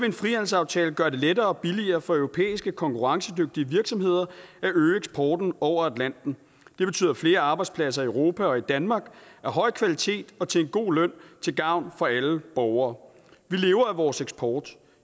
en frihandelsaftale gøre det lettere og billigere for europæiske konkurrencedygtige virksomheder at øge eksporten over atlanten det betyder flere arbejdspladser i europa og i danmark af høj kvalitet og til en god løn til gavn for alle borgere vi lever af vores eksport